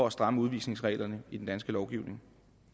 at stramme udvisningsreglerne i den danske lovgivning